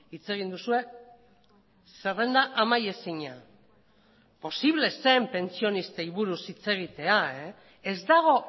hitz egin duzue zerrenda amaiezina posible zen pentsionistei buruz hitz egitea ez dago